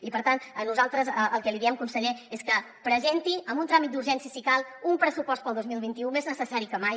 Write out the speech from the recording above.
i per tant nosaltres el que li diem conseller és que presenti amb un tràmit d’urgència si cal un pressupost per al dos mil vint u més necessari que mai